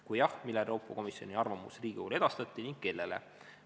Kui jah, millal Euroopa Komisjoni arvamus Riigikogule edastati ning kellele?